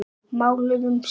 Máluðum samt.